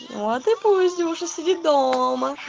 вот и поезде уже сиди дома